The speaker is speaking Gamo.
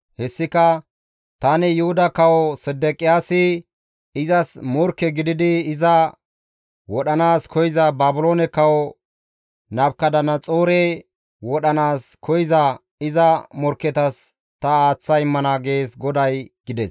Hessika, ‹Tani Yuhuda Kawo Sedeqiyaasi izas morkke gididi iza wodhanaas koyza Baabiloone kawo Nabukadanaxoore wodhanaas koyza iza morkketas ta aaththa immana› gees GODAY» gides.